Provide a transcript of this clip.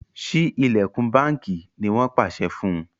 Sí ilẹkùn bánkì! ní wón pàṣẹ fún